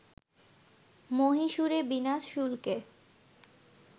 মহীশুরে বিনা শুল্কে